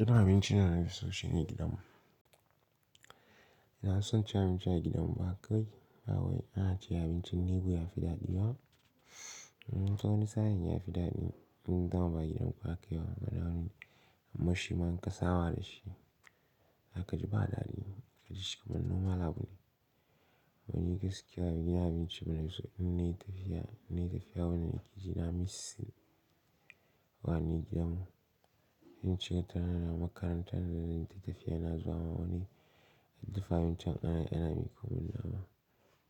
Irin abincin dana fiso shine gidan mu ina son ci abinci a gidanmu haka kawai ba wai ci abincin nebo yafiɗaɗi wa. Wani sa'in ya fiɗaɗe in dama ba gidan ku akai ba, amma shi ma in kasaba da shi. Zakaji badaɗi, gaji shi kamar noma labule. Wani gaskiya, gidan abinci mana iso in nayi tafiya, in nayi tafiya wani lokaci ina missi wa ni gidanmu. In shiga tana na makaranta da zan yi tafiya, ina zuwa ma wani dafa abincin ana yi ana miƙo min nama.